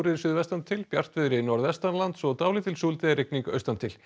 suðvestantil bjartviðri norðvestanlands og dálítil súld eða rigning austantil